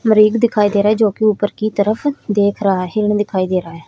मरीग दिखाई दे रहा है जो कि ऊपर की तरफ देख रहा है हिरण दिखाई दे रहा है।